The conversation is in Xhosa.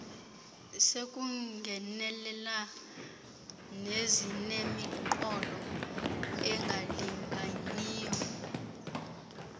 sekungenelela nezinemiqolo engalinganiyo